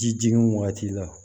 Ji jigin wagati la